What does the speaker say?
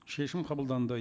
шешім қабылданды